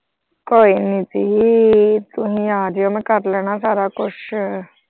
ਕੋਈ ਨਹੀਂ ਜੀ ਤੁਸੀਂ ਆ ਜਿਓ ਮੈਂ ਕਰ ਲੈਣਾ ਸਾਰਾ ਕੁਛ।